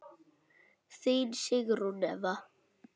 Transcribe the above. Þín Sigrún Eva.